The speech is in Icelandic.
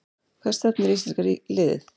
Hvert stefnir íslenska liðið